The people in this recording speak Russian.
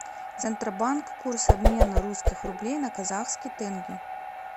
центробанк курс обмена русских рублей на казахский тенге